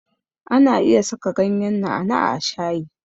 Ana iya saka ganyen na'a na'a a shayi.